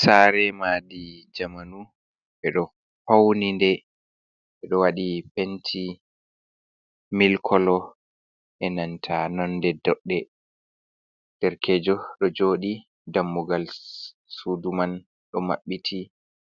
Sare madi jamanu ɓe ɗo fauni nde, ɓeɗo waɗi penti mili kolo e nanta nonde doɗɗe. Derkejo ɗo joɗi dammugal sudu man ɗo mabbiti.